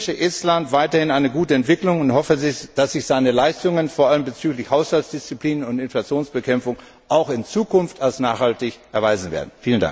Ich wünsche Estland weiterhin eine gute Entwicklung und hoffe, dass sich seine Leistungen vor allem bezüglich Haushaltsdisziplin und Inflationsbekämpfung auch in Zukunft als nachhaltig erweisen werden.